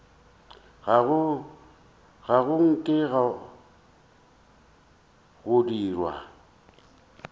ga go nke go dirwa